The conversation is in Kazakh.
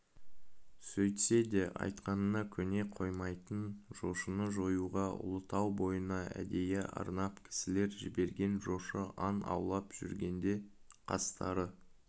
сөйтсе де айтқанына көне қоймайтын жошыны жоюға ұлытау бойына әдейі арнап кісілер жіберген жошы аң аулап жүргенде қастары